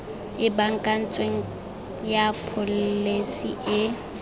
e baakantsweng ya pholesi e